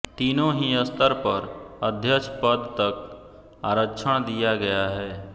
तीनों ही स्तर पर अध्यक्ष पद तक आरक्षण दिया गया है